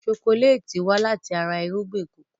Ṣokoléètì wá láti ara irúgbìn kòkó.